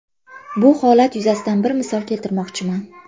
Bu holat yuzasidan bir misol keltirmoqchiman.